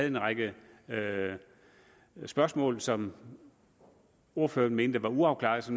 en række spørgsmål som ordføreren mente var uafklarede